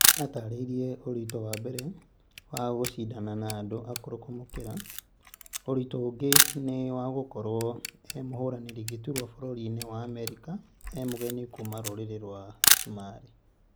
atarĩirie ũritũ wa mbere wa gũcindana na andu akũrũ kũmũkĩra ,ũritũ ũngĩ ni wa gũkorwo e mũhũranĩri gĩturwa bũrũri-inĩ wa Amerika e mũgeni kuma rũrĩrĩ rwa sumarĩ